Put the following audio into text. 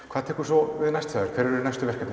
hvað tekur svo við næst hjá þér hver eru næstu verkefni